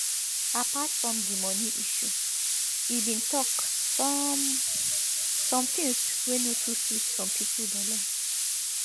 apart from di money issue e bin tok some some things wey no too sweet some pipo belle